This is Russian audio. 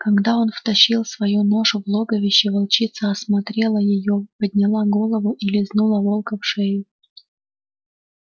когда он втащил свою ношу в логовище волчица осмотрела её подняла голову и лизнула волка в шею